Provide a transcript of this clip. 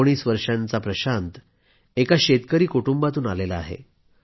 19 वर्षाचा प्रशांत एका शेतकरी कुटुंबातून आला आहे